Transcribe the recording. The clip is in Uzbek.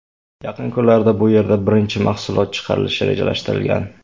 Yaqin kunlarda bu yerda birinchi mahsulot chiqarilishi rejalashtirilgan.